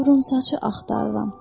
Qıvrımsaçı axtarıram.